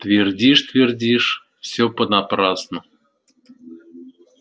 твердишь твердишь все понапрасну